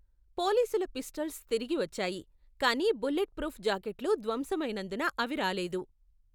పోలీసుల పిస్టల్స్ తిరిగి వచ్చాయి, కానీ బుల్లెట్ ప్రూఫ్ జాకెట్లు ధ్వంసమైనందున అవి రాలేదు.